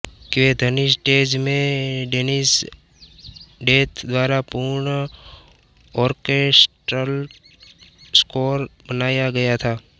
के ध्वनिस्टेज में डेनिस डेथ द्वारा पूर्ण ऑर्केस्ट्रल स्कोर बनाया गया था